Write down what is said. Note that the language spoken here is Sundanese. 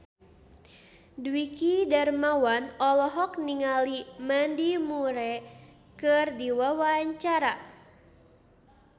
Dwiki Darmawan olohok ningali Mandy Moore keur diwawancara